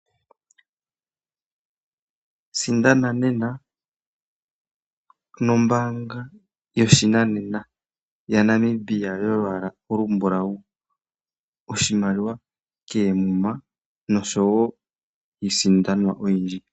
Sindana nena nombaanga yoshinanena ya Namibia yolwaala olumbulawu , oshimaliwa koomuma noshowo iisindanwa oyindji.